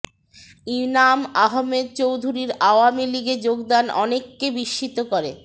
ইনাম আহমেদ চৌধুরীর আওয়ামী লীগে যোগদান অনেককে বিস্মিত করে